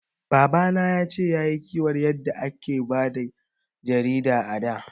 Baba na yace yayi kiwar yadda a da ake bayar da jarida a da